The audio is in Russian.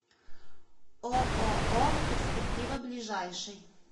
ооо перспектива ближайший